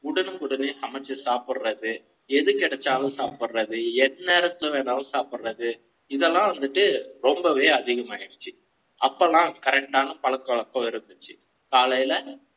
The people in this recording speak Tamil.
உடனுக்குடனே சமைச்சு சாப்பிடறது எது கிடைச்சாலும் சாப்பிடறது என் நேரத்தில் வேணும்னாலும் சாப்பிடுறது இதுயெல்லாம் வந்துட்டு ரொம்பவே அதிகமா ஆயிடுச்சு